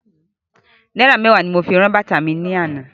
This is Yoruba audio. Náírà mẹ́wàá ni mo fi ran bàtá mi lánàá.